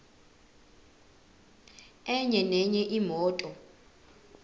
enye nenye imoto